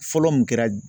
Fɔlɔ mun kɛra